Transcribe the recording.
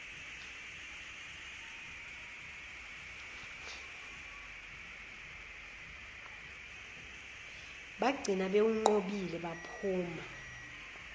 bagcina bewunqobile baphuma